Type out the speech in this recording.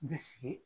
Bɛ sigi